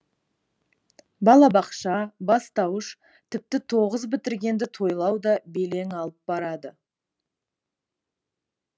балабақша бастауыш тіпті тоғыз бітіргенді тойлау да белең алып барады